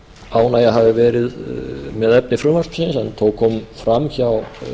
ánægja hafi verið með efni frumvarpsins en þó komu fram hjá